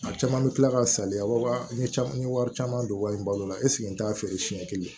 A caman bɛ tila ka saliya wa caman n ye wari caman don wa n balo la n t'a feere siɲɛ kelen